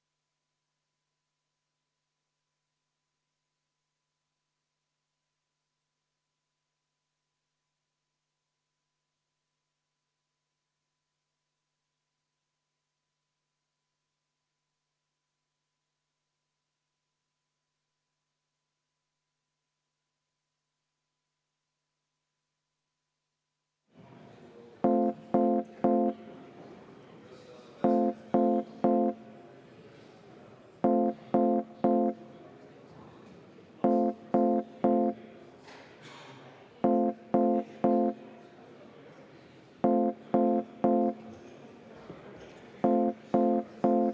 Head kolleegid, läheme seaduseelnõu 214 lõpphääletuse juurde.